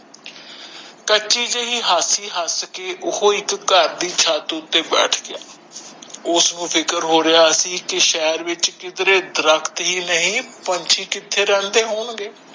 ਕੱਚੀ ਜਿਹੀ ਹਾਸੀ ਹੱਸ ਕੇ ਉਹ ਇਕ ਘਰ ਦੀ ਚਤ ਉਥੇ ਬੈਠ ਗਯਾ ਉਸਨੂੰ ਫਿਕਰ ਹੋ ਰਿਹਾ ਸੀ ਕਿ ਸ਼ਹਿਰ ਵਿਚ ਕਿਧਰੇ ਦਰਖ਼ਤ ਹੀ ਨਹੀਂ ਪੰਛੀ ਕਿੱਥੇ ਰਹਿੰਦੇ ਹੋਣ ਗੇ